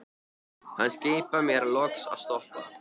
Hann skipar mér loks að stoppa.